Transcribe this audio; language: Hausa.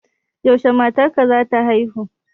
Yaushe matar ka za ta haihu?